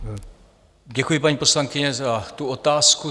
Děkuji, paní poslankyně, za tu otázku.